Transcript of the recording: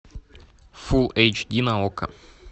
фул эйч ди на окко